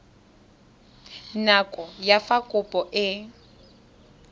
nako ya fa kopo e